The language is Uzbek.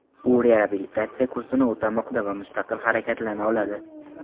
U reabilitatsiya kursini o‘tamoqda va mustaqil harakatlana oladi.